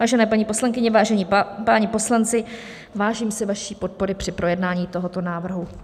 Vážené paní poslankyně, vážení páni poslanci, vážím si vaší podpory při projednání tohoto návrhu.